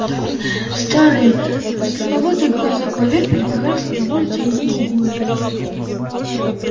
старые подслеповатые глаза кловер перебегали с одного лица на другое